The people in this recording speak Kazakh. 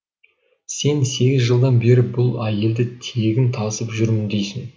сен сегіз жылдан бері бұл әйелді тегін тасып жүрмін дейсің